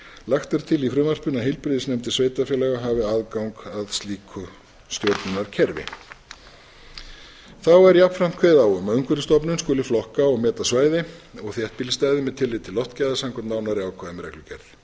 lagt er til í frumvarpinu að heilbrigðisnefndir sveitarfélaga hafi aðgang að slíku stjórnunarkerfi þá er jafnframt kveðið á um að umhverfisstofnun skuli flokka og meta svæði og þéttbýlisstaði með tilliti til loftgæða samkvæmt nánari ákvæðum í reglugerð